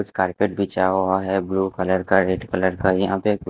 Carpet बिछा हुआ है ब्लू कलर का रेड कलर का। यहां पे--